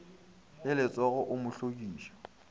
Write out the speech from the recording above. le letsogo o mo hlokiša